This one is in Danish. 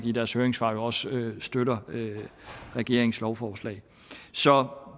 i deres høringssvar også støtter regeringens lovforslag så